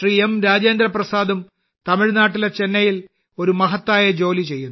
രാജേന്ദ്രപ്രസാദും തമിഴ്നാട്ടിലെ ചെന്നൈയിൽ ഒരു മഹത്തായ ജോലി ചെയ്യുന്നു